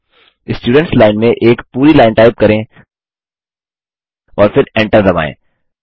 students line में एक पूरी लाइन टाइप करें और फिर Enter दबाएँ